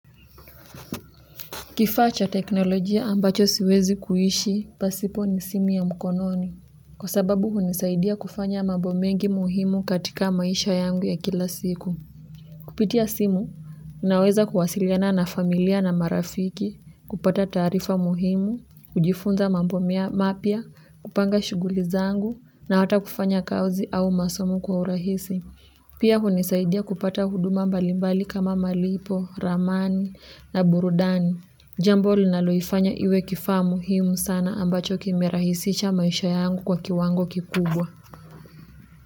Kifaa cha teknolojia ambacho siwezi kuishi, pasipo ni simu ya mkononi. Kwa sababu hunisaidia kufanya mambo mengi muhimu katika maisha yangu ya kila siku. Kupitia simu, naweza kuwasiliana na familia na marafiki, kupata taarifa muhimu, kujifunza mambo mapya, kupanga shughuli zangu, na hata kufanya kazi au masomo kwa urahisi. Pia hunisaidia kupata huduma mbalimbali kama malipo, ramani na burudani. Jambo linaloifanya iwe kifaa muhimu sana ambacho kimerahisisha maisha yangu kwa kiwango kikubwa.